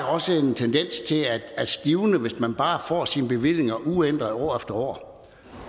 også en tendens til at stivne hvis man bare får sine bevillinger uændret år efter år